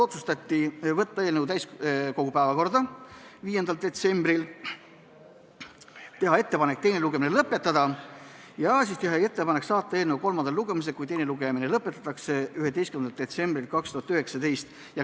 Otsustati saata eelnõu täiskogu päevakorda 5. detsembriks, teha ettepanek teine lugemine lõpetada ja teha ettepanek saata eelnõu kolmandale lugemisele, kui teine lugemine lõpetatakse, 11. detsembriks 2019.